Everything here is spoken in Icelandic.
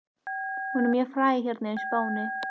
Hún er mjög fræg hérna á Spáni.